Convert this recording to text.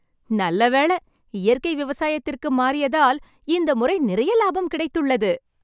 நல்ல வேளை, இயற்கை விவசாயத்திற்கு மாறியதால் இந்த முறை நிறைய லாபம் கிடைத்துள்ளது.